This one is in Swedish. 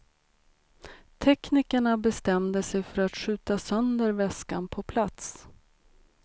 Teknikerna bestämde sig för att skjuta sönder väskan på plats.